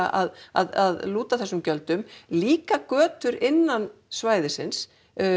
að að lúta þessum gjöldum líka götur innan svæðisins